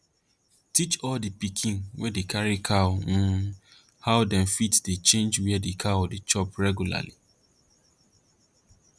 teach all di pikin wey dey carry cow um how dem fit dey change where cow dey chop reglarly